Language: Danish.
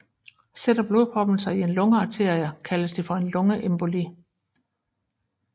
Sætter blodproppen sig i en lungearterie kaldes det for en lungeemboli